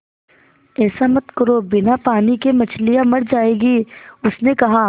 ऐसा मत करो बिना पानी के मछलियाँ मर जाएँगी उसने कहा